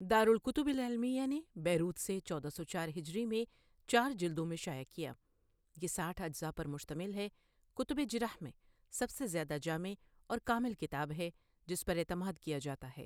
دار الکتب العلمیہ نے بیروت، سے چودہ سو چار ہجری میں چار جلدوں میں شائع کیا یہ ساٹھ اجزاء پر مشتمل ہے کتب جرح میں سب سے زیادہ جامع اور کامل کتاب ہے جس پر اعتماد کیا جاتا ہے۔